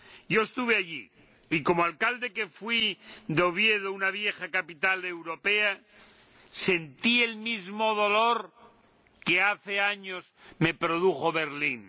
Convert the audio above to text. Yo estuve allí y, como alcalde que fui de Oviedo, una vieja capital europea, sentí el mismo dolor que hace años me produjo Berlín.